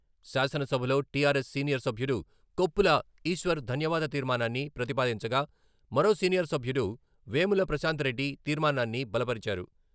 శాసనసభలో TRS senior సభ్యుడు కొప్పుల ఈశ్వర్ ధన్యవాద తీర్మానాన్ని ప్రతిపాదించగా, మరో సీనియర్ సభ్యుడు వేముల ప్రశాంత్ రెడ్డి తీర్మానాన్ని బలపరిచారు.